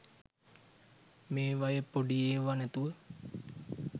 මේවයේ පොඩි ඒවා නැතුව